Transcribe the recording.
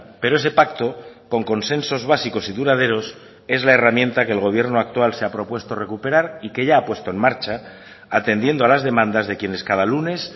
pero ese pacto con consensos básicos y duraderos es la herramienta que el gobierno actual se ha propuesto recuperar y que ya ha puesto en marcha atendiendo a las demandas de quienes cada lunes